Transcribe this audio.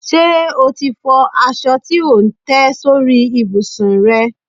Ṣe o ti fọ aṣọ tí ò ń tẹ́ sórí ìbùsùn rẹ?